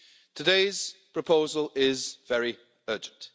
Today's proposal is very urgent.